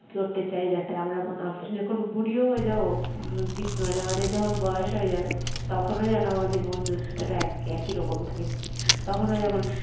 করতে চাই যাতে আমরা মানে আমরা যখন বুড়ি ও হয়ে যাব বৃদ্ধ মানে আমাদের যখন বয়স হয়ে যাবে তখন যেন আমাদের বন্ধুত্বটা একই রকম থাকে তখন যখন